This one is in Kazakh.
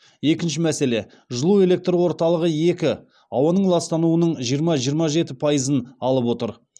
екінші мәселе жылу электр орталығы екі ауаның ластануының жиырма жиырма жеті пайызын алып отыр